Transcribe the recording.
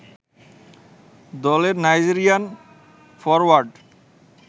দলের Nigerian forward